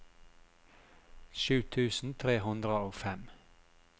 sju tusen tre hundre og fem